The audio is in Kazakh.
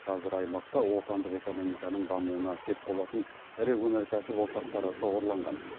қазір аймақта отандық экономиканың дамуына сеп болатын ірі өнеркәсіп ошақтары шоғырланған